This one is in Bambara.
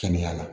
Kɛnɛya la